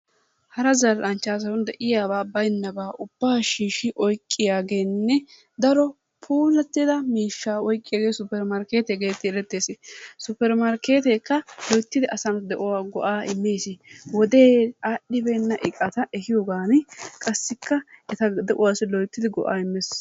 Hara zal'anchchaason de'iyaabaa baynabaa ubbaa shiishshi oyqqiyaageenne daro puulattida mishshaa oyqqiyaagee supper markeettiyaa getetti erettees. Supper markeetekka loyttidi asa de'uwaa go'a immees. Wode aadhdhibeena iqata ehiyoogan qassikka eta de'uwaassi lottidi go'aa immees.